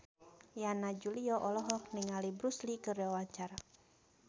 Yana Julio olohok ningali Bruce Lee keur diwawancara